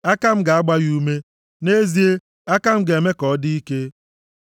Aka m ga-agba ya ume; nʼezie, aka m ga-eme ka ọ dị ike.